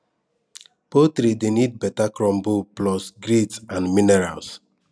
poultry dey need better crumble plus grit and minerals